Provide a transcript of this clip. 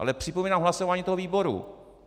Ale připomínám hlasování toho výboru.